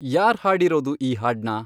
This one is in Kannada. ಯಾರ್ ಹಾಡಿರೋದು ಈ ಹಾಡ್ನ